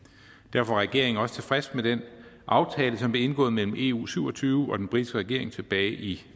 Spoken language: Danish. er regeringen også tilfreds med den aftale som blev indgået mellem eu syv og tyve og den britiske regering tilbage i